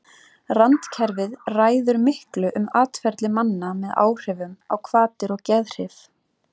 randkerfið ræður miklu um atferli manna með áhrifum á hvatir og geðhrif